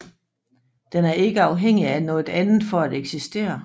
Den er ikke afhængig af noget andet for at eksistere